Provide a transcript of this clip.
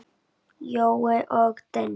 Jói og Denni.